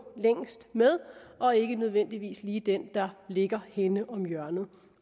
længst med og ikke nødvendigvis lige den der ligger henne om hjørnet